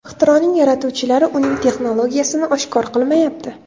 Ixtironing yaratuvchilari uning texnologiyasini oshkor qilmayapti.